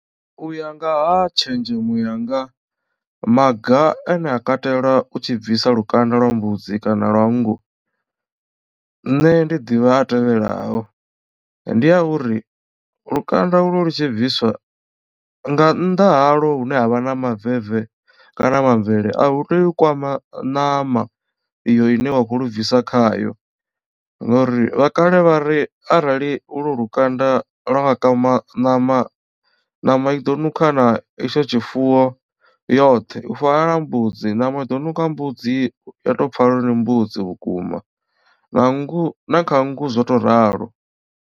U ya ngaha tshenzhemo yanga maga ane a katela u tshi bvisa lukanda lwa mbudzi kana lwa nngu nṋe ndi ḓivha a tevhelaho. Ndi a uri lukanda ulwo lu tshi bviswa nga nnḓa haḽo hune havha na mabu vivo kana maambele a hu tei u kwama ṋama iyo ine wa kho lu bvisa khayo ngori vha kale vhari arali ulwo lukanda lwa nga kwama ṋama ṋama iḓo nukha na itsho tshifuwo yoṱhe u fana na mbudzi ṋama ido nukha mbudzi ya to pfhala uri ndi mbudzi vhukuma na kha nngu zwo to ralo.